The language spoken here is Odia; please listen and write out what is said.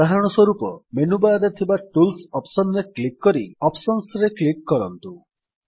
ଉଦାହରଣ ସ୍ୱରୂପ ମେନୁ ବାର୍ ରେ ଥିବା ଟୁଲ୍ସ ଅପ୍ସନ୍ ରେ କ୍ଲିକ୍ କରି ଅପସନ୍ସ ରେ କ୍ଲିକ୍ କରନ୍ତୁ